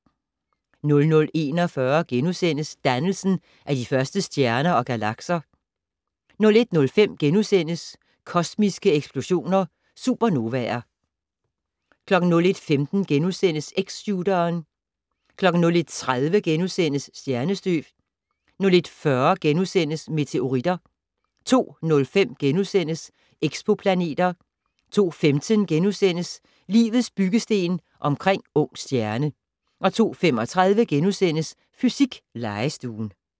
00:41: Dannelsen af de første stjerner og galakser * 01:05: Kosmiske eksplosioner - Supernovaer * 01:15: X-shooteren * 01:30: Stjernestøv * 01:40: Meteoritter * 02:05: Exoplaneter * 02:15: Livets byggesten omkring ung stjerne * 02:35: Fysiklegestuen *